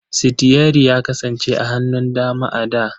Sitiyari ya kasance a hannun dama a da.